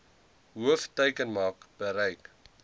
hoof teikenmark bereik